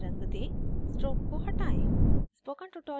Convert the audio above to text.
इसे नीला रंग दें stroke को हटायें